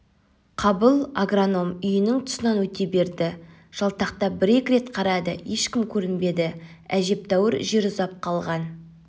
қабыл агроном үйінің тұсынан өте берді жалтақтап бір-екі рет қарады ешкім көрінбеді әжептәуір жер ұзап қалған